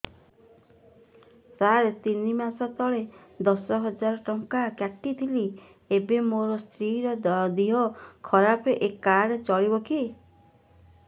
ସାର ତିନି ମାସ ତଳେ ଦଶ ହଜାର ଟଙ୍କା କଟି ଥିଲା ଏବେ ମୋ ସ୍ତ୍ରୀ ର ଦିହ ଖରାପ ଏ କାର୍ଡ ଚଳିବକି